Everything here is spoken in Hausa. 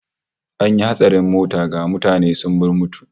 An yi hatsarin mota, ga mutane sun murmutu